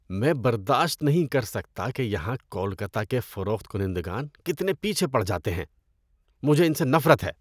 میں برداشت نہیں کر سکتا کہ یہاں کولکتہ کے فروخت کنندگان کتنے پیچھے پڑ جاتے ہیں۔ مجھے ان سے نفرت ہے۔